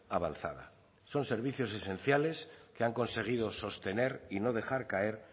avanzada son servicios esenciales que han conseguido sostener y no dejar caer